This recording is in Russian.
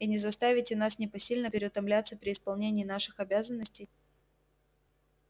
и не заставите нас непосильно переутомляться при исполнении наших обязанностей